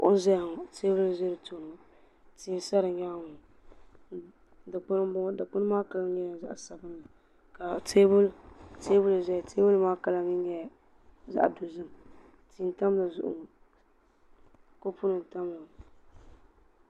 kuɣu n ʒɛya ŋɔ teebuli n ʒɛ di nyaangi ŋɔ tia n saya ŋɔ dikpuni n bɔŋɔ dikpuni maa kala nyɛla zaɣ sabinli ka teebuli ʒɛya teebuli maa kama nyɛla zaɣ dozim tia tam dizuɣu kopu nim tamya